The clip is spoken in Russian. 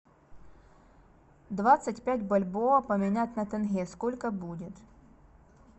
двадцать пять бальбоа поменять на тенге сколько будет